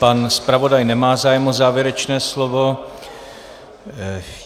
Pan zpravodaj nemá zájem o závěrečné slovo.